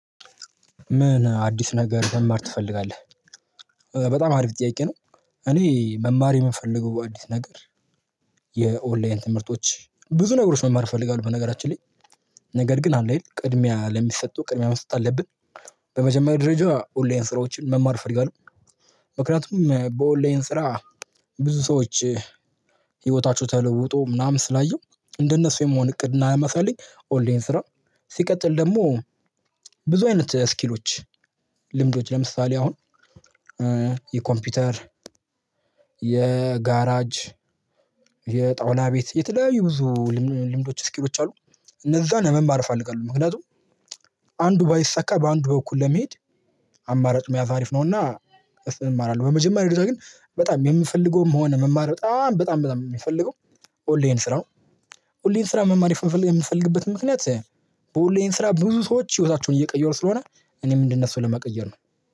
ምን አዲስ ነገር መማር ትፈልጋለህ? በጣም አሪፍ ጥያቄ ነው እኔ መማር የምፈልገው አዲስ ነገር የኦንላይን ትምህርቶች ብዙ ነገሮች መማር እፈልጋለሁ በነገራችን ላይ ነገር ግን አለ አይደል ቅድሚያ ለሚሰጡ ቅድሚያ መስጠት አለብን በመጀመሪያ ደረጃ ኦንላይን ስራዎችን መማር ፈርጊያለሁ ምክንያቱም በኦንላይን ስራ ብዙ ሰዎች ህይወታችው ተለውጦ ምናምን ስላየው እንደነሱ የመሆን እቅድና መፈለግ ኦንላይን ስራ ሲቀጥል ደግሞ ብዙ አይነት ስኪሎች ልምዶች ለምሳሌ አሁን የኮምፒውተር የጋራጅ የጣውላ ቤት የተለያዩ ብዙ ልምዶች ስኪሎች አሉ እነዛን ለመማር እፈልጋለሁ ምክንያቱም አንዱ ባይሰካ በአንዱ በኩል ለመሄድ አማራጭ መያዝ አሪፍ ነውና እሱን እማራለሁ በመጀመሪያ ደረጃ ግን በጣም የምፈልገውም ሆነ መማር በጣም በጣም በጣም የምፈልገው ኦንላይን ስራ ኦንላይን ስራ መማር የምፈልግበት ምክንያት በኦንላይን ስራ ብዙ ሰዎች ህይወታቸውን እየቀየሩ ስለሆነ እኔም እንድነሱ ለመቀየር ነው